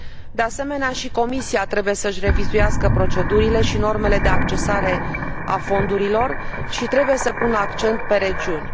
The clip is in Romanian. De asemenea, și Comisia trebuie să își revizuiască procedurile și normele de accesare a fondurilor și trebuie să pună accent pe regiuni.